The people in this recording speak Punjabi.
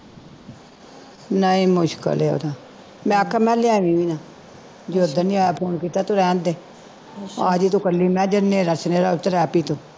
ਨਹੀਂ ਮੁਸ਼ਕਿਲ ਓਹਦਾ ਮੈਂ ਆਖਿਆ ਲਿਆਵੀਂ ਵੀ ਨਾ ਜੇ ਉੱਦਣ ਨੀ ਆਇਆ phone ਕੀਤਾ ਰਹਿੰਦੇ ਆਜੁ ਤੂੰ ਇਕੱਲੀ ਮੈਂ ਜਦੋ ਨੇਰਾ ਸਵੇਰਾ ਹੋਵੇਗਾ ਤੇ ਰਹਿ ਪਈ ਤੂੰ